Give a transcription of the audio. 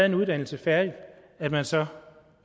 en uddannelse færdig at man så